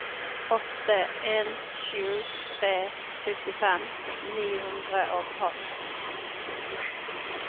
åtte en sju tre syttifem ni hundre og tolv